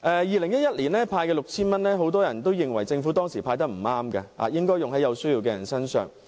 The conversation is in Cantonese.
2011年派發 6,000 元，當時很多人認為政府不應該"派錢"，應該把錢用在有需要的人身上。